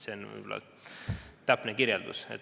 See on võib-olla täpne kirjeldus.